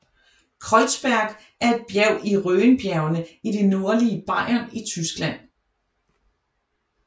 Kreuzberg er et bjerg i Rhönbjergene i det nordlige Bayern i Tyskland